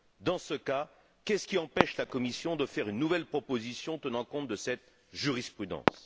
Dans ce cas, qu'est ce qui empêche la Commission de faire une nouvelle proposition tenant compte de cette jurisprudence?